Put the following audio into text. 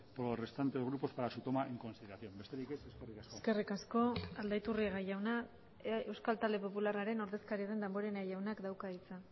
por los restantes grupos para su toma en consideración besterik ez eskerrik asko eskerrik asko aldaiturriaga jauna euskal talde popularraren ordezkaria den damborenea jaunak dauka hitza